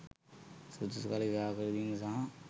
සුදුසු කල විවාහ කරදීම සහ